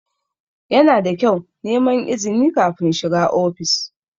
Yana da kyau neman izini kafin shiga ofis.